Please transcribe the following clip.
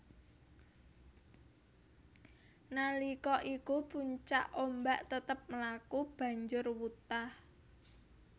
Nalika iku puncak ombak tetep mlaku banjur wutah